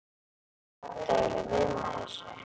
Hvað áttu eiginlega við með þessu?